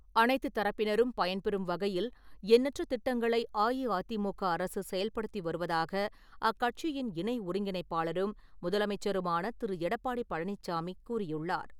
அனைத்து தரப்பினரும் பயன்பெறும் வகையில் எண்ணற்ற திட்டங்களை அஇஅதிமுக அரசு செயல்படுத்தி வருவதாக அக்கட்சியின் இணை ஒருங்கிணைப்பாளரும், முதலமைச்சருமான திரு. எடப்பாடி பழனிச்சாமி கூறியுள்ளார்.